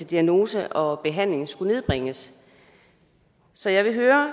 diagnose og behandling skulle nedbringes så jeg vil høre